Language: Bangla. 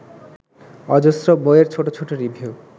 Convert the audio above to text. অজস্র বইয়ের ছোট ছোট রিভিউ